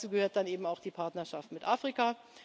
anders. Und dazu gehört dann eben auch die Partnerschaft mit